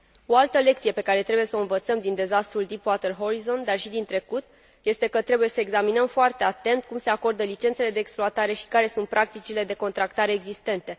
O altă lecție pe care trebuie să o învățăm din dezastrul Deep Water Horizon, dar și din trecut, este că trebuie să examinăm foarte atent cum se acordă licențele de exploatare și care sunt practicile de contractare existente.